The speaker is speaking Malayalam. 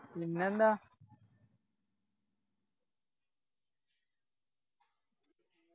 പിന്നെ എന്താ